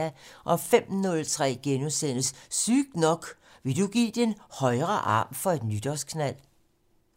05:03: Sygt nok: Vil du give din højre arm for et nytårsknald? *